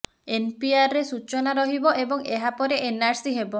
ଏନପିଆରରେ ସୂଚନା ରହିବ ଏବଂ ଏହା ପରେ ଏନଆରସି ହେବ